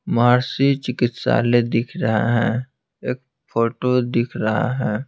महर्षि चिकित्सालय दिख रहा है एक फोटो दिख रहा है।